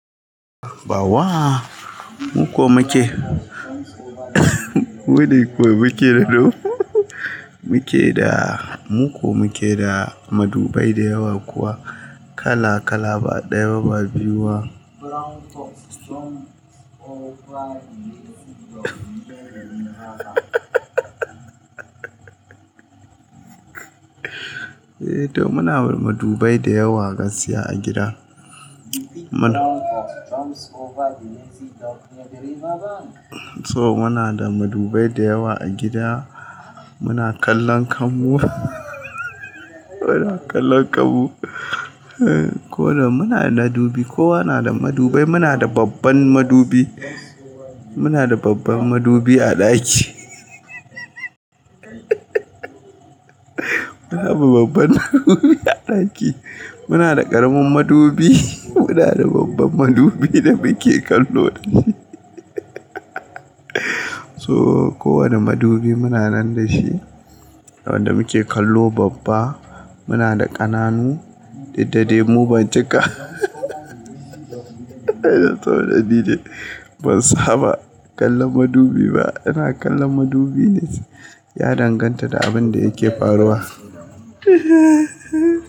Ba wa, mu ko muke mune ko muke da do muke da, mu ko muke da madubai dayawa kuwa kala kala ba ɗaya ba ba biyu. Eh to muna da madubai dayawa gasiya a gida. So muna da madubai dayawa a gida muna kallon kanmu muna kallon kanmu. Ko da muna da madubi kowa nada madubai muna da babban madubi muna da babban madubi a ɗaki muna da babban madubi a ɗaki muna da ƙaramin madubi mu na da babban madubi da muke kallo so kowane madubi muna nan da shi wanda muke kallo babba muna da ƙananu, duk da dai mu ba cika saboda ni dai ban saba kallon madubi ba, ina kallon madubi ne ya danganta da abinda yake faruwa.